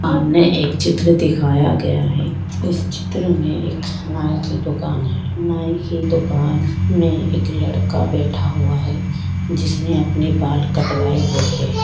सामने एक चित्र दिखाया गया हैं इस चित्र में एक नाई की दुकान हैं नाई की दुकान में एक लड़का बैठा हुआ हैं जिसने अपने बाल कटवाए हुए हैं।